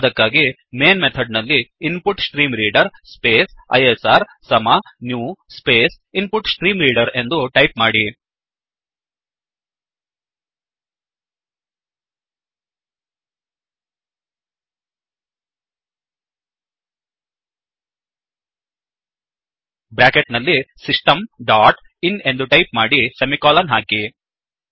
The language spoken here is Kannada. ಅದಕ್ಕಾಗಿ ಮೈನ್ ಮೇನ್ ಮೆಥಡ್ ನಲ್ಲಿ InputStreamReaderಇನ್ಪುುಟ್ಸ್ಟ್ರೀ ಮ್ರೀಳಡರ್ ಸ್ಪೇಸ್ ಐಎಸ್ಆರ್ ಸಮ ನ್ಯೂ ಸ್ಪೇಸ್ InputStreamReaderಇನ್ಪು್ಟ್ಸ್ಟ್ರೀ ಮ್ರೀೆಡರ್ ಎಂದು ಟೈಪ್ ಮಾಡಿ ಬ್ರ್ಯಾಕೆಟ್ ನಲ್ಲಿ Systemಡಾಟ್ ಇನ್ ಎಂದು ಟೈಪ್ ಮಾಡಿ ಸೆಮಿಕೋಲನ್ ಹಾಕಿ